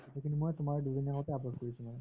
photo খিনি মই তোমাৰ দুইদিন আগৰ পৰা update কৰিছো মানে